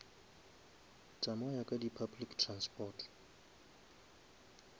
tsamaya ka di public transport